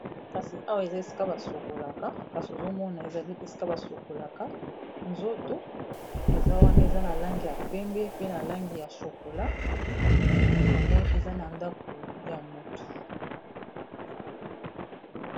kasi awa eza esika ba sokolaka kasi ozo mona ezali esika ba sokolaka nzoto eza wana eza na langi ya pembe pe na langi ya shokola yango eza na ndako ya motu